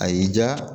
A y'i diya